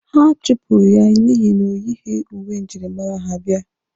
A chụpụrụ ya n'ihi na o yighi uwe njirimara ha bịa.